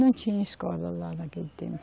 Não tinha escola lá naquele tempo.